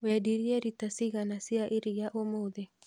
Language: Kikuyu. Wendirie rita cigana cia iria ũmũthĩ?